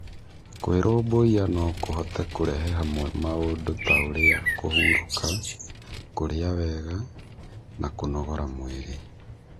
Kwĩrũmbũiya no kũhote kũrehe hamwe maũndũ ta ũrĩa kũhurũka, kũrĩa wega, na kũnogora mwĩrĩ.